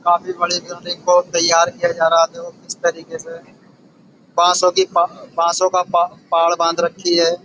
काफी बड़े ग्राउंड इनको तैयार किया जा रहा है। अब देखो किस तरीके से पांच सौ की पांच सौ का पा पाड़ बाँध रखी है।